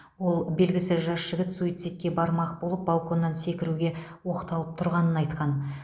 ол белгісіз жас жігіт суицидке бармақ болып балконнан секіруге оқталып тұрғанын айтқан